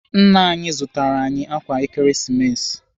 Nna anyị zụtara anyị ákwà Ekeresimesi.